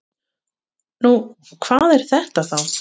Nú, hvað er þetta þá?